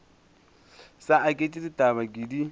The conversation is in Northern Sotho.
sa aketše ditaba ke di